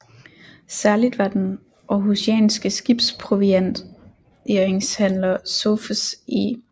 Særligt var den århusianske skibsprovianteringshandler Sophus E